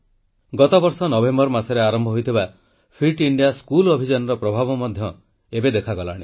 ଗତବର୍ଷ ନଭେମ୍ବର ମାସରେ ଆରମ୍ଭ ହୋଇଥିବା ଫିଟ୍ ଇଣ୍ଡିଆ ସ୍କୁଲ ଅଭିଯାନର ପ୍ରଭାବ ମଧ୍ୟ ଏବେ ଦେଖାଗଲାଣି